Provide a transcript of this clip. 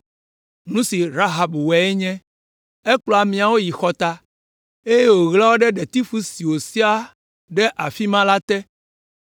Nu si Rahab wɔe nye, ekplɔ ameawo yi xɔta, eye wòɣla wo ɖe ɖetifu si wòsia ɖe afi ma la te.